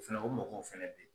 o mɔgɔw fɛnɛ bɛ ye.